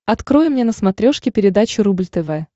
открой мне на смотрешке передачу рубль тв